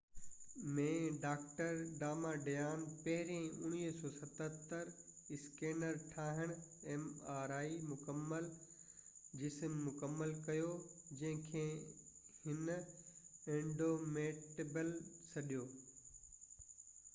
1977 ۾، doctor Damadian پهريئن ”مڪمل-جسم mri scanner ٺاهڻ مڪمل ڪيو، جنهن کي هن ”انڊومٽيبل سڏيو